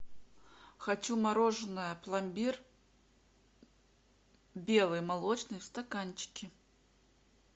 хочу мороженое пломбир белый молочный в стаканчике